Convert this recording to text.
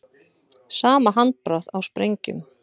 Sama handbragð á sprengjum